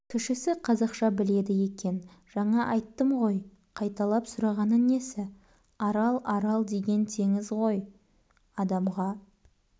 кішісі қазақша біледі екен жаңа айттым ғой қайталап сұрағаны несі арал арал деген теңіз ғой адамға